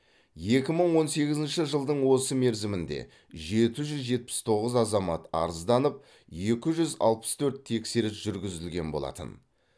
екі мың он сегізінші жылдың осы мерзімінде жеті жүз жетпіс тоғыз азамат арызданып екі жүз алпыс төрт тексеріс жүргізілген болатын